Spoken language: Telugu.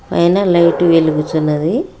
పైనా లైట్ వెలుగుచున్నది.